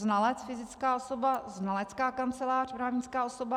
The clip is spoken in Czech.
Znalec - fyzická osoba, znalecká kancelář - právnická osoba.